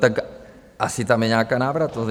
Tak asi tam je nějaká návratnost.